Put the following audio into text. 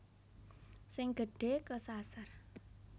Sing gedhe kesasar